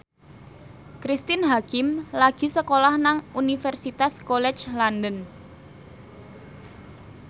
Cristine Hakim lagi sekolah nang Universitas College London